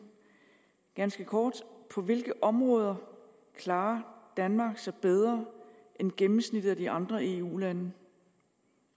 ganske kort på hvilke områder klarer danmark sig bedre end gennemsnittet af de andre eu lande